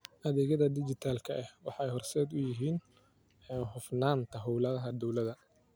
Adeegyada dijitaalka ah waxay horseed u yihiin hufnaanta hawlaha dawladda.